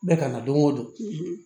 Ne kana don o don